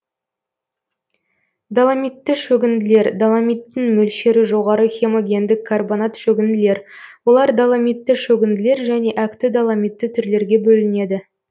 доломитті шөгінділер доломиттің мөлшері жоғары хемогендік карбонат шөгінділер олар доломитті шөгінділер және әкті доломитті түрлерге бөлінеді